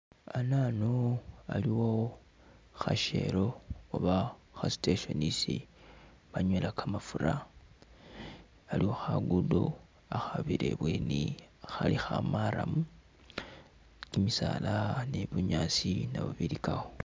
Anano waliwo khashelo oba kha'station isi banywela kamafura, waliwo khagudo khakhabire i'bweni khali khamaramu, kimisaala ni bunyaasi nabyo bilikawo